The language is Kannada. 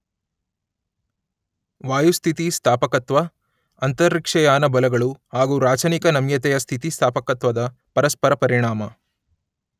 ವಾಯುಸ್ಥಿತಿಸ್ಥಾಪಕತ್ವ , ಅಂತರಿಕ್ಷಯಾನ ಬಲಗಳು ಹಾಗು ರಾಚನಿಕ ನಮ್ಯತೆಯ ಸ್ಥಿತಿಸ್ಥಾಪಕತ್ವದ ಪರಸ್ಪರ ಪರಿಣಾಮ